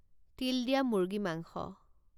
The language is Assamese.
তিল দিয়া মুৰ্গী মাংস